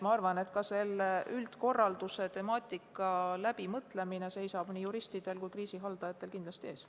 Ma arvan, et selle üldkorralduse temaatika läbimõtlemine seisab nii juristidel kui ka kriisihaldajatel kindlasti ees.